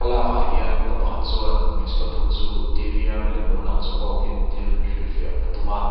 ah hian pa pakhat chuan hmeichhe pathum chu t v a milem lo lang chu kawk in thil hrilhfiah a tum a.